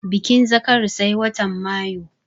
Bikin zakari sai watan mayu